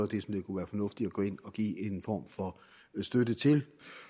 det kunne være fornuftigt at gå ind og give en form for støtte til